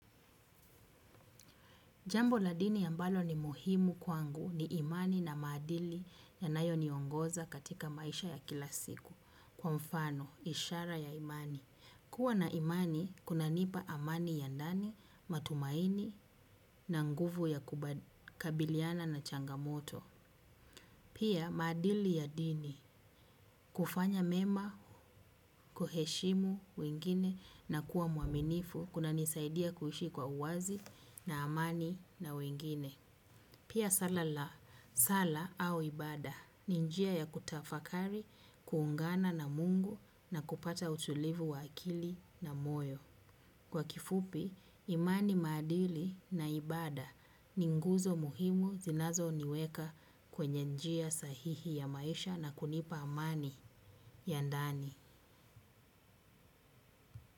Jambo la dini ambalo ni muhimu kwangu ni imani na maadili yanayoniongoza katika maisha ya kila siku kwa mfano, ishara ya imani. Kuwa na imani kunanipa amani ya ndani, matumaini na nguvu ya kukabiliana na changamoto. Pia maadili ya dini kufanya mema, kuheshimu wengine na kuwa mwaminifu kunanisaidia kuishi kwa uwazi na amani na wengine. Pia sala au ibada, ni njia ya kutafakari, kuungana na mungu na kupata utulivu wa akili na moyo. Kwa kifupi, imani maadili na ibada, ni nguzo muhimu zinazoniweka kwenye njia sahihi ya maisha na kunipa amani ya ndani.